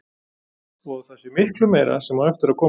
Og að það sé miklu meira sem á eftir að koma.